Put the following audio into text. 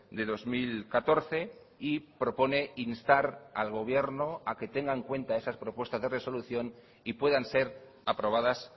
de dos mil catorce y propone instar al gobierno a que tenga en cuenta esas propuestas de resolución y puedan ser aprobadas